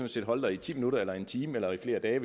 set holde der i ti minutter eller en time eller i flere dage